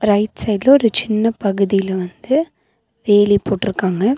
Right சைடுல ஒரு சின்ன பகுதியில வந்து வேலி போட்ருக்காங்க.